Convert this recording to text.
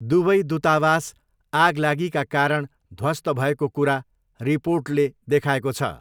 दुवै दूतावास आगलागिका कारण ध्वस्त भएको कुरा रिपोर्टले देखाएको छ।